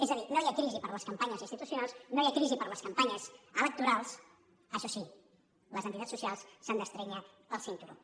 és a dir no hi ha crisi per a les campanyes institucionals no hi ha crisi per a les campanyes electorals això sí les entitats socials s’han d’estrènyer el cinturó